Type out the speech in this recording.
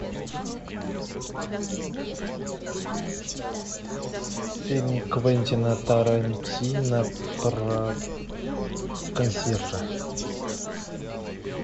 фильм квентина тарантино про консьержа